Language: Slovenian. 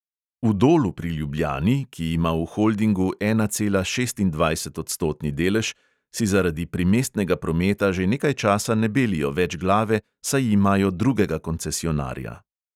V dolu pri ljubljani, ki ima v holdingu ena cela šestindvajsetodstotni delež, si zaradi primestnega prometa že nekaj časa ne belijo več glave, saj imajo drugega koncesionarja.